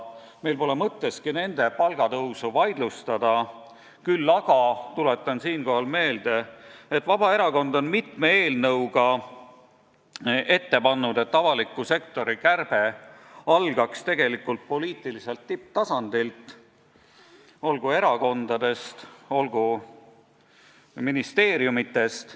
Meil pole mõtteski nende palga tõusu vaidlustada, küll aga tuletan siinkohal meelde, et Vabaerakond on mitme eelnõuga ette pannud, et avaliku sektori kärbe algaks tegelikult poliitiliselt tipptasandilt, olgu erakondadest, olgu ministeeriumitest.